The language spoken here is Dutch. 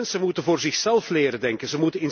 Jonge mensen moeten voor zichzelf leren denken.